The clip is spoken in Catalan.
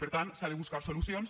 per tant s’ha de buscar solucions